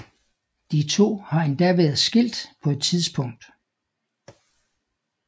De to har endda været skilt på et tidspunkt